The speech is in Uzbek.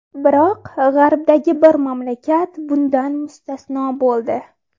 Biroq g‘arbdagi bir mamlakat bundan mustasno bo‘ldi.